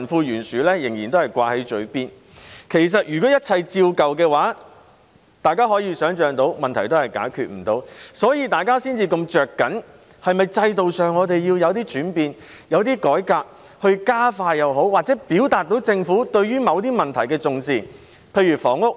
如果一切照舊的話，大家可以想象到，問題是不能解決的，所以大家才這麼着緊政府是否要在制度上作出轉變、改革，以加快或者......以表現出政府對某些問題的重視。